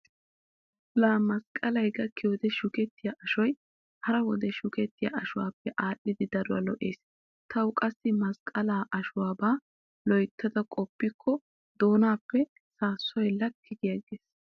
Laa masqqalay gakkiyode shukettiya ashoy hara wode shukettiya ashuwaappe aadhdhidi daruwa lo'ees. Tawu qassi masqqala ashuwabaa loytta qoppikko doonaappe saassoy lakki giiggees